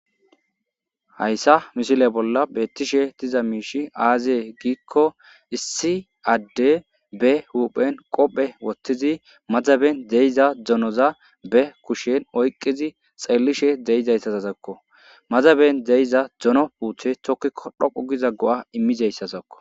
Hayssa misile bolla beettishe diza miishi aazee giikko issi adde be huphen qophe wottizi madzaben de7iza dzonoza be kushen oyqqidzi xeellishe deyizayssazazakko. Madzaben de7iza dzono puuthe tokkiko dhoqquu giza go7a immizeyssazakko.